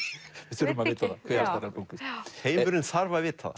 þurfum að vita það heimurinn þarf að vita